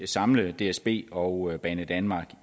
samle dsb og banedanmark